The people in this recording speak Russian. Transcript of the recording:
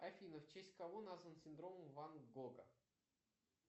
афина в честь кого назван синдром ван гога